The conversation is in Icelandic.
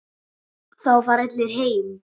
Þá fara allir heim.